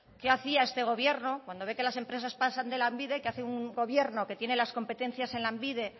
qué hacía este gobierno cuando ve que las empresas pasan de lanbide qué hace un gobierno que tiene las competencias en lanbide